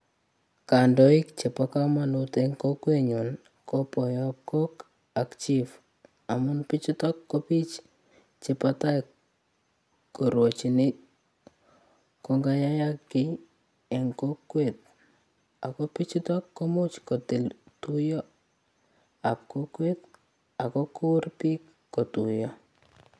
Kandoik chebokomonut en kokwenyun ko boyob kok ak chief amun bichutok ko biik chebotai korwochin koyan kayayak kii en kokwet ak ko bichuton komuch kotil tuyoab kokwet ak kokur biik kotuyo.